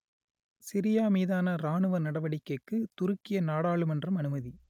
Syria மீதான இராணுவ நடவடிக்கைக்கு துருக்கிய நாடாளுமன்றம் அனுமதி